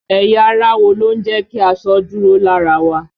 Ẹ̀yà ara wo ló ń jẹ ki aṣọ ó dúró lára wa?